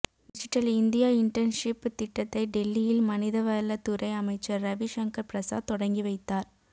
digital India internship திட்டத்தை டெல்லியில் மனிதவள துறை அமைச்சர் ரவி ஷங்கர் பிரசாத் தொடங்கிவைத்தார்